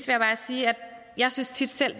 jeg bare sige at jeg selv tit synes